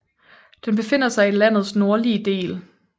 Den befinder sig i landets nordlige del